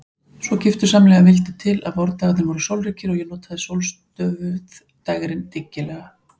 Svo giftusamlega vildi til að vordagarnir voru sólríkir og ég notaði sólstöfuð dægrin dyggilega.